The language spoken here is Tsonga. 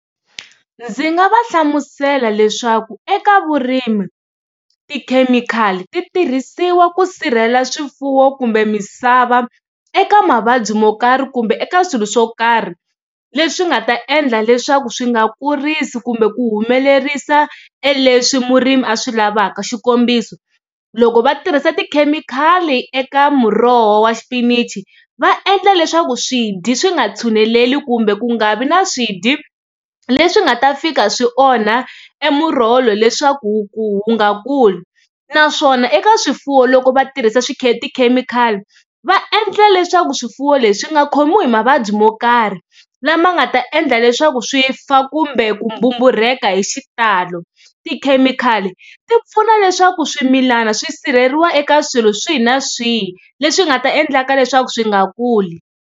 Ndzi nga va hlamusela leswaku eka vurimi tikhemikhali ti tirhisiwa ku sirhela swifuwo kumbe misava eka mavabyi mo karhi kumbe eka swilo swo karhi leswi nga ta endla leswaku swi nga kurisi kumbe ku humelerisa e leswi murimi a swi lavaka xikombiso, loko va tirhisa tikhemikhali eka muroho wa xipinichi va endla leswaku swi dyi swi nga tshuneleli kumbe ku nga vi na swidya leswi nga ta fika swi onha e muroho lowu leswaku wu wu nga kuli naswona eka swifuwo loko va tirhisa tikhemikhali va endla leswaku swifuwo leswi nga khomiwi hi mavabyi mo karhi lama nga ta endla leswaku swi fa kumbe ku mbumburheka hi xitalo. Tikhemikhali ti pfuna leswaku swimilana swi sirheleriwa eka swilo swihi na swihi leswi nga ta endlaka leswaku swi nga kuli.